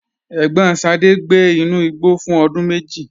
Ẹ̀gbọ́n Sade gbé inú igbó fún ọdún méjì.